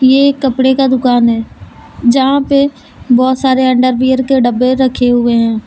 ये एक कपड़े का दुकान है जहां पे बहुत सारे अंडरवियर के डब्बे रखे हुए हैं।